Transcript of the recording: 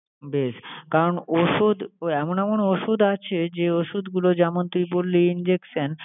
বেশ! কারন ওষুধ এমন এমন ওষুধ আছে, যে ওষুধগুলো যেমন তুই বললি injection